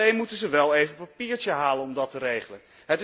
Alleen moeten ze wel even een papiertje halen om dat te regelen.